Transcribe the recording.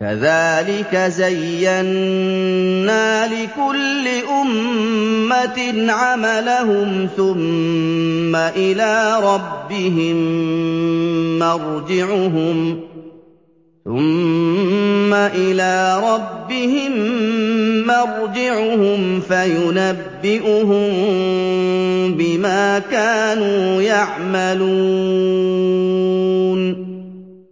كَذَٰلِكَ زَيَّنَّا لِكُلِّ أُمَّةٍ عَمَلَهُمْ ثُمَّ إِلَىٰ رَبِّهِم مَّرْجِعُهُمْ فَيُنَبِّئُهُم بِمَا كَانُوا يَعْمَلُونَ